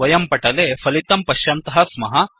वयं पटले फलितं पश्यन्तः स्मः